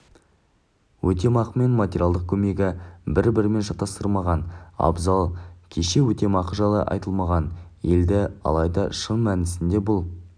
өтемақы мен материалдық көмекті бір-бірімен шатастырмаған абзал кеше өтемақы жайлы айтылған еді алайда шын мәнісінде бұл